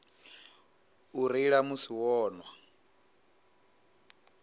u reila musi vho nwa